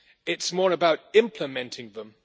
it is more about implementing them.